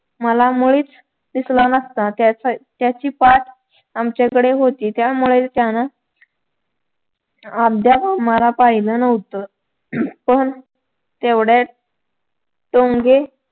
मला मुळीच दिसला नसता त्याची पाठ आमच्या कडे होती त्यामुळे त्यानं अर्ध्यात आम्हाला पाहिलं नव्हतं पण तेवढ्यात टोनगे